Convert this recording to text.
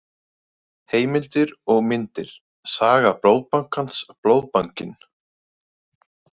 Heimildir og myndir: Saga Blóðbankans- Blóðbankinn.